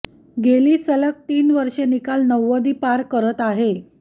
गेली सलग तीन वर्षे निकाल नव्वदी पार करत आहे